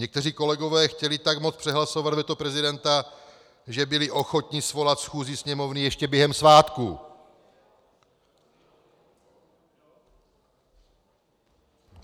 Někteří kolegové chtěli tak moc přehlasovat veto prezidenta, že byli ochotni svolat schůzi Sněmovny ještě během svátků.